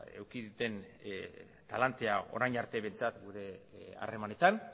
eduki duten talantea orain arte behintzat gure harremanetan